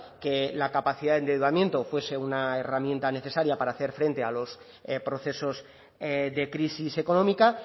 que la capacidad de endeudamiento fuese una herramienta necesaria para hacer frente a los procesos de crisis económica